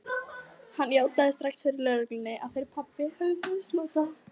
Hann játaði strax fyrir lögreglunni að þeir pabbi hefðu misnotað